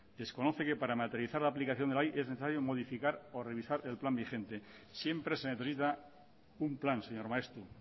desconoce que para materializar la aplicación de la ley es necesario modificar o revisar el plan vigente siempre se necesita un plan señor maeztu